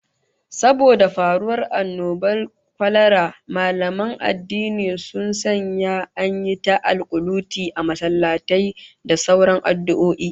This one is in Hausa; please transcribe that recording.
Saboda faruwar annobar kwalara, mallaman addini sun sanya an yi ta alkunuti a masallatai da sauran addu'o'i